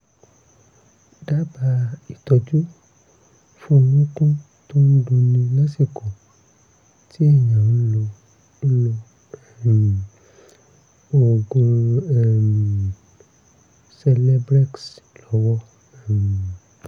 dábàá ìtọ́jú fún orúnkún tó ń dunni lásìkò tí èèyàn ń lo ń lo um oògùn um celebrex lọ́wọ́ um